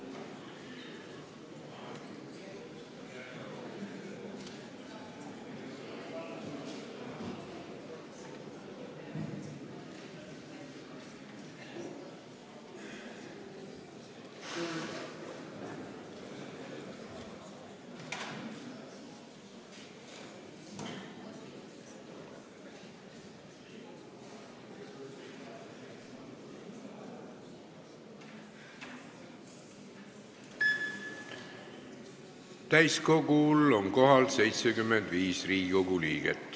Kohaloleku kontroll Täiskogul on kohal 75 Riigikogu liiget.